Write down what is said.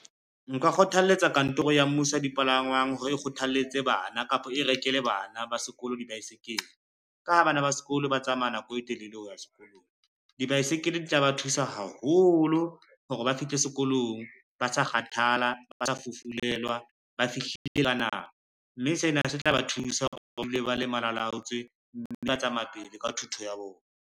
Nka kgothaletsa kantoro ya mmuso ya dipalangwang hore e kgothalletse bana, kapa e rekele bana ba sekolo dibaesekele, ka ha bana ba sekolo ba tsamaya nako e telele ho ya sekolong. Dibaesekele di tla ba thusa haholo hore ba fihle sekolong, ba sa kgathala, ba sa fufulelwa, ba fihlile ka nako, mme sena se tla ba thusa hore ba dule ba le malalaotswe, mme ba tsamaya pele ka thuto ya bona.